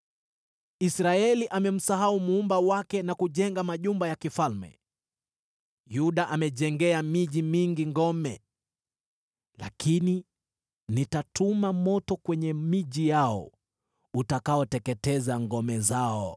Israeli amemsahau Muumba wake na kujenga majumba ya kifalme, Yuda amejengea miji mingi ngome. Lakini nitatuma moto kwenye miji yao utakaoteketeza ngome zao.”